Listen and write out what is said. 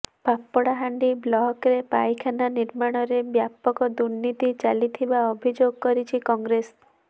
ପାପଡାହାଣ୍ଡି ବ୍ଲକରେ ପାଇଖାନା ନର୍ମାଣରେ ବ୍ୟାପକ ଦୁର୍ନୀତି ଚାଲିଥିବା ଅଭିଯୋଗ କରିଛି କଂଗ୍ରେସ